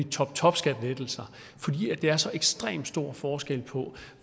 toptopskattelettelser fordi der er så ekstremt stor forskel på